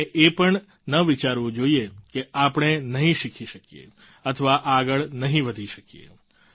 આપણે એ પણ ન વિચારવું જોઈએ કે આપણે નહીં શીખી શકીએ અથવા આગળ નહીં વધી શકીએ